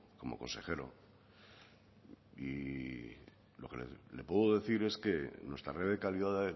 como consejero y lo que le puedo decir es que nuestra red de calidad